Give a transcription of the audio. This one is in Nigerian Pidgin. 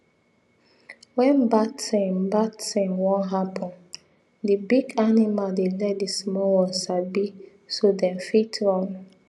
when bad thing bad thing one happen the big animal dey let the small ones sabi so them fit run